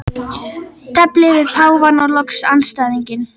Tefli við páfann og loks andstæðinginn.